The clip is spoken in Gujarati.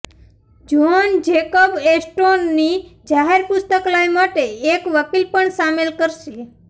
જ્હોન જેકબ એસ્ટોરની જાહેર પુસ્તકાલય માટે એક વકીલ પણ સામેલ કરશે